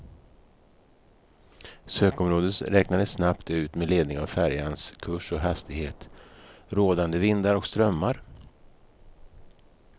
Sökområdet räknades snabbt ut med ledning av färjans kurs och hastighet, rådande vindar och strömmar.